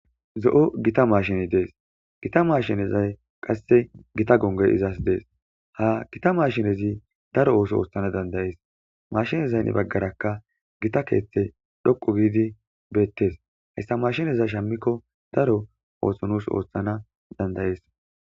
zo7o gita maashini dees gita maashinezay qasse gita gongoy izas dees ha gita maashinezi daro ooso ooththana dandayees mashinezaynni baggarakka gita keeththe dhoqo giidi beettes hayssa mashinezay shammikko daro oothsho nuus ooththana dandayees